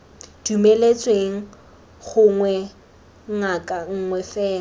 dumeletsweng gongwe ngaka nngwe fela